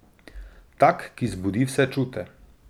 Tak, ki zbudi vse čute.